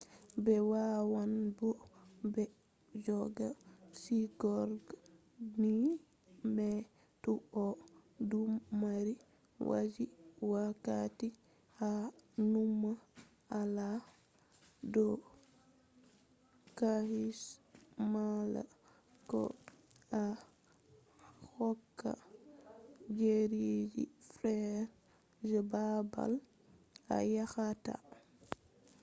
ɓe wawan bo'o ɓe jogga sigorde ni ma to a ɗon mari haaje wakkati a numa hala do caahu mala ko a hokka ɗereji feere je baabal a yahata bana visa